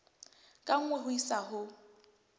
ka nngwe ho isa ho